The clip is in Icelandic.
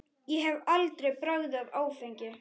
Ég hef aldrei bragðað áfengi.